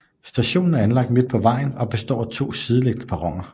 Stationen er anlagt midt på vejen og består af to sideliggende perroner